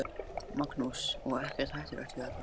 Magnús: Og ekkert hættulegt við þetta?